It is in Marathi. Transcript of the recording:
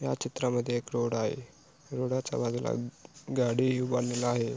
या चित्रामध्ये एक रोड आहे रोडा च्या बाजूला गाडी उभारलेला आहे.